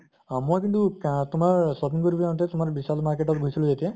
মই কিন্তু আহ তোমাৰ shopping কৰিন যাওঁতে তোমাৰ বিশাল market ত গৈছিলো যেতিয়া